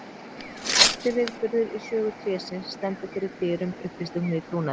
Mesti viðburður í sögu trésins stendur fyrir dyrum upplýsti hún í trúnaði.